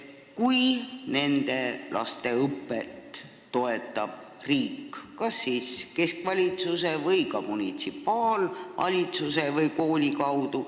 Nende laste õpet toetab riik kas keskvalitsuse, munitsipaalvalitsuse või kooli kaudu.